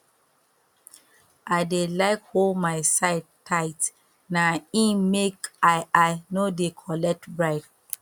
i dey like hol my side tight na im make i i no dey collect bribe